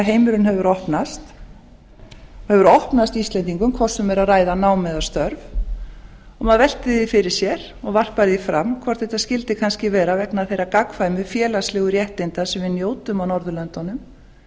heimurinn hefur opnast og hefur opnast íslendingum hvort sem um er að hvað nám eða störf maður veltir því fyrir sér og varpar því fram hvort þetta skyldi kannski vera vegna þeirra gagnkvæmu félagslegu réttinda sem við njótum á norðurlöndunum